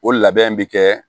O labɛn bi kɛ